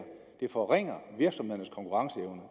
forringer virksomhedernes konkurrenceevne